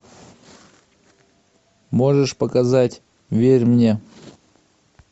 можешь показать верь мне